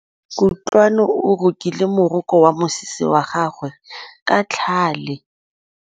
Kutlwanô o rokile morokô wa mosese wa gagwe ka tlhale.